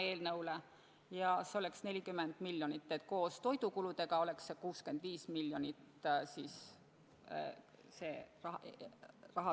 See summa oleks 40 miljonit, koos toidurahaga 65 miljonit eurot.